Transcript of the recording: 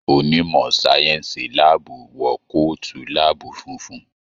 Onimọ sáyẹnsì láàbù wọ kootu láàbù fúnfún.